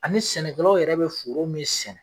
Ani sɛnɛkɛlaw yɛrɛ bɛ foro min sɛnɛ.